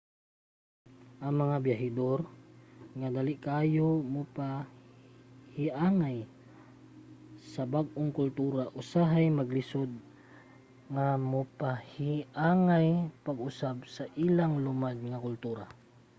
ang mga byahedor nga dali kaayo mopahiangay sa bag-ong kultura usahay maglisod mopahiangay pag-usab sa ilang lumad nga kultura